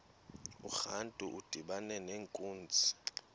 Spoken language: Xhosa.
urantu udibana nenkunzi